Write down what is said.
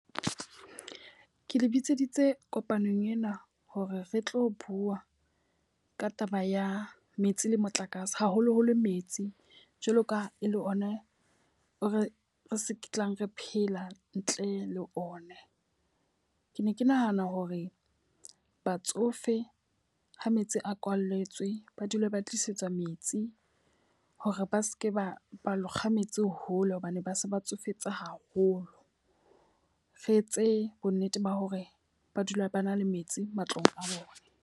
Ke le bitseditse kopanong ena hore re tlo bua ka taba ya metsi le motlakase. Haholoholo metsi. Jwalo ka e le one o re re se tlang re phela ntle le one. Ke ne ke nahana hore batsofe ha metsi a kwalletswe ba dule ba tlisetswa metsi hore ba seke ba ba lo kga metsi hole hobane ba se ba tsofetse haholo. Re etse bo nnete ba hore ba dula ba na le metsi matlong a bona.